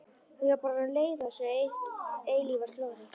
Ég var bara orðin leið á þessu eilífa slori.